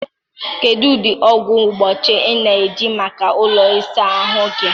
kedụ ụdị ọgwụ mgbochi ị na-eji maka ụlọ ịsa ahụ gị?